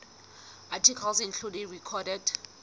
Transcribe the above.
articles including recorded